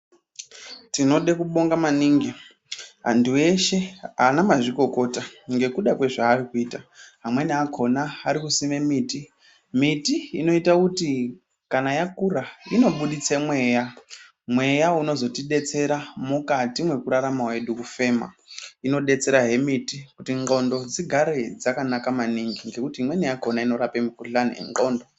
Tinode kubonga maningi antu eshe, anamazvikokota ngekuda kwezvaari kuita, amweni akhona ari kusime miti. Miti inoita kuti kana yakura inozobuditse mweya. Mweya unozotidetsera mukati mwekurarama kwedu kufema. Inodetserahe miti kuti ngqondo dzigare dzakanaka maningi ngekuti imweni yakhona inorapa mikhuhlani nengqondo.